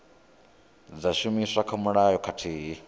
dza shumiswa kha mulayo khathihi